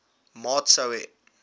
maat sou hê